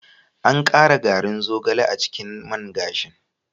An ƙara garin zogale a cikin man gashin.